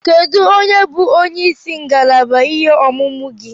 Kedụ onye bụ onyeisi ngalaba ihe ọmụmụ gị?